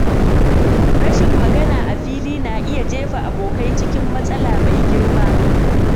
Rashin magana a fili na iya jefa abokai cikin matsala mai girma.